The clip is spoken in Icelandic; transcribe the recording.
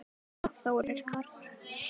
Guðrún og Þórir Karl.